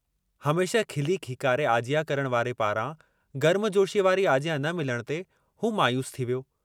हमेशह खिली खीकारे आजियां करण वारे पारां गर्मजोशीअ वारी आजियां न मिलण ते हू मायूस थी वियो।